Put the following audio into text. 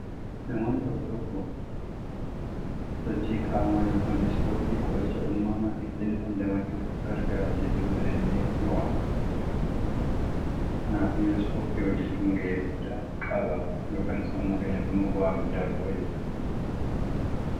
Namoonni tokko tokko sochii qaamaa yookiin ispoortii, qoricha uumamaa dhiphina damdamachuuf gargaaru jechuudhaanillee ni waamu. Kanaafuu ispoortii hojjechuun gahee guddaa qaba. Yookiin sammuu keenyaaf immoo bu'aa guddaa qaba jechuudha.